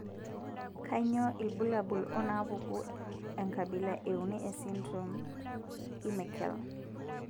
Kainyio irbulabul onaapuku enkabila euni esindirom eMeckel?